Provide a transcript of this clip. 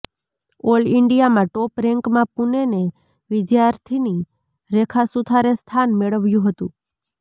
all ઇન્ડિયામાં top રેંકમાં પુનેને વિદ્યાર્થિની રેખા સુથારે સ્થાન મેળવ્યું હતું